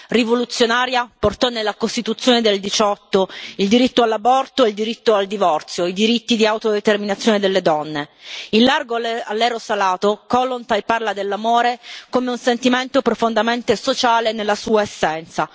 Rivoluzionaria, portò nella costituzione del '18 il diritto all'aborto e il diritto al divorzio, i diritti di autodeterminazione delle donne. In Largo all'eros alato Kollontaj parla dell'amore come di un sentimento profondamente sociale nella sua essenza.